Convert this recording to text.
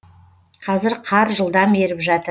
қазір қар жылдам еріп жатыр